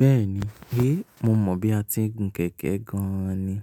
Bẹ́ẹ̀ni, héé mo mọ̀ bí a ti ń gun kẹ̀kẹ́ gan ni,